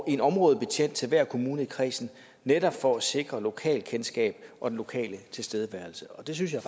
en områdebetjent til hver kommune i kredsen netop for at sikre lokalkendskab og den lokale tilstedeværelse og det synes jeg